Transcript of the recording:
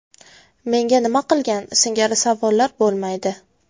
Menga nima qilgan?” singari savollar bo‘lmaydi.